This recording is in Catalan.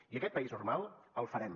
i aquest país normal el farem